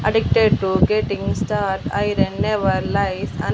అడిక్టేటివ్ getting star iron never life and .